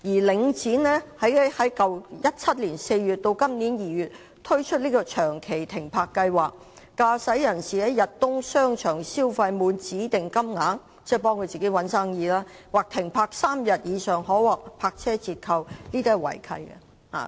領展在2017年4月至今年2月推出長期停泊計劃，駕駛人士在逸東商場消費滿指定金額——即是為自己的商場找生意——或停泊3天以上可獲泊車折扣，這是違契的。